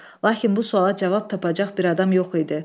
Lakin bu suala cavab tapacaq bir adam yox idi.